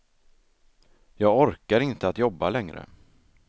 Jag orkar inte att jobba längre.